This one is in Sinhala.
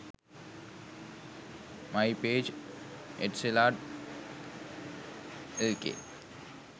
mypage etisalat lk